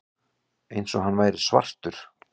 Eins og hann væri svartur.